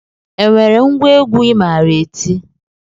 E nwere ngwa egwu I maara eti?